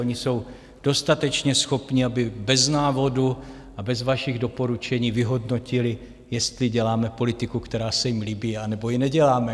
Oni jsou dostatečně schopni, aby bez návodu a bez vašich doporučení vyhodnotili, jestli děláme politiku, která se jim líbí, anebo ji neděláme.